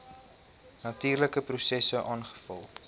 natuurlike prosesse aangevul